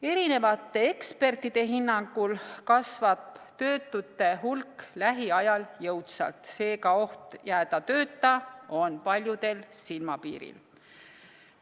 Erinevate ekspertide hinnangul kasvab töötute hulk lähiajal jõudsalt, seega oht jääda tööta on paljudel silmapiiril.